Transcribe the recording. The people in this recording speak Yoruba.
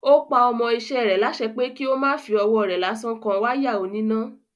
Ó pa ọmọ iṣẹ́ rẹ̀ lásẹ pé kí ó má fí ọwọ́ rẹ̀ lásán kan wáyà oníná.